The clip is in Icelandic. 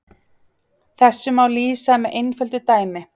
Þessu má lýsa með einföldu dæmi.